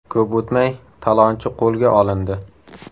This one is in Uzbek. Ko‘p o‘tmay, talonchi qo‘lga olindi.